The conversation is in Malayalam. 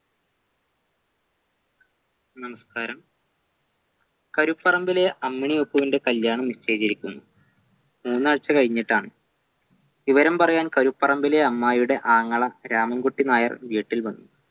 നമസ്ക്കാരം കരുപ്പറമ്പിലെ അമ്മിണി ഒപ്പുവിൻ്റെ കല്യാണം നിശ്ചയിച്ചിരിക്കുന്നു മൂന്നാഴ്ച്ച കഴിഞ്ഞിട്ടാണ് വിവരം പറയാൻ കരുപ്പറമ്പിലെ അമ്മായിയുടെ ആങ്ങള രാമൻകുട്ടി നായർ വീട്ടിൽ വന്നു